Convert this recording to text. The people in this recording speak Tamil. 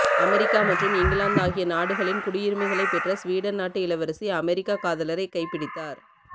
அமெரிக்கா மற்றும் இங்கிலாந்து ஆகிய நாடுகளின் குடியுரிமைகளை பெற்ற ஸ்வீடன் நாட்டு இளவரசி அமெரிக்க காதலரை கைப் பிடித்தார்